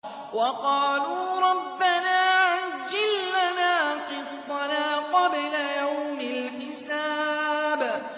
وَقَالُوا رَبَّنَا عَجِّل لَّنَا قِطَّنَا قَبْلَ يَوْمِ الْحِسَابِ